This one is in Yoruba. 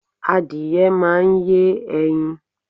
Adìyẹ máà ń yé ẹyin